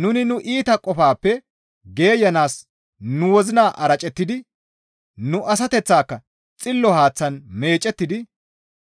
nuni nu iita qofaappe geeyanaas nu wozina aracettidi nu asateththaaka xillo haaththan meecettidi